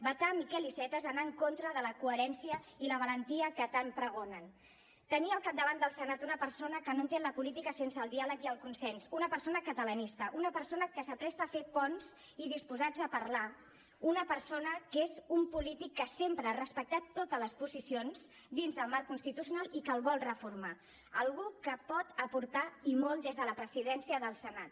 vetar miquel iceta és anar en contra de la coherència i la valentia que tant pregonen de tenir al capdavant del senat una persona que no entén la política sense el diàleg i el consens una persona catalanista una persona que es presta a fer ponts i disposat a parlar una persona que és un polític que sempre ha respectat totes les posicions dins del marc constitucional i que el vol reformar algú que pot aportar i molt des de la presidència del senat